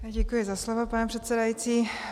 Děkuji za slovo, pane předsedající.